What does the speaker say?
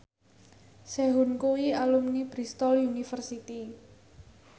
Sehun kuwi alumni Bristol university